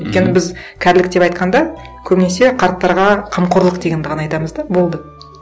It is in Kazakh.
өйткені біз кәрілік деп айтқанда көбінесе қарттарға қамқорлық дегенді ғана айтамыз да болды